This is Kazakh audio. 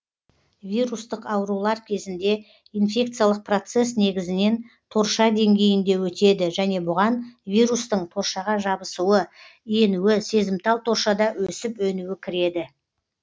вирустық аурулар кезінде инфекциялық процесс негізінен торша деңгейінде өтеді және бұған вирустың торшаға жабысуы енуі сезімтал торшада өсіп өнуі кіреді